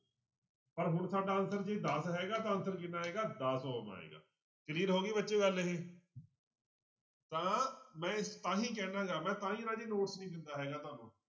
ਪਰ ਹੁਣ ਸਾਡਾ answer ਜੇ ਦਸ ਹੈਗਾ ਤਾਂ answer ਕਿੰਨਾ ਆਏਗਾ ਦਸ ਆਏਗਾ clear ਹੋ ਗਈ ਬੱਚਿਓ ਗੱਲ ਇਹ ਤਾਂ ਮੈਂ ਤਾਂਹੀ ਕਹਿਨਾ ਗਾ ਮੈਂ ਤਾਂ ਹੀ ਰਾਜੇ notes ਨੀ ਦਿੰਦਾ ਹੈਗਾ ਤੁਹਾਨੂੰ,